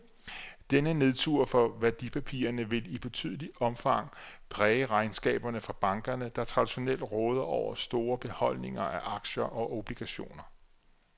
Denne nedtur for værdipapirerne vil i betydeligt omfang præge regnskaberne fra bankerne, der traditionelt råder over store beholdninger af aktier og obligationer.